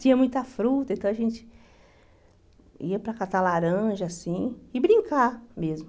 Tinha muita fruta, então a gente ia para catar laranja, assim, e brincar mesmo.